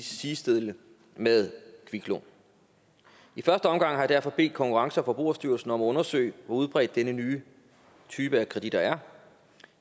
sidestille med kviklån i første omgang har jeg derfor bedt konkurrence og forbrugerstyrelsen om at undersøge hvor udbredt denne nye type af kreditter er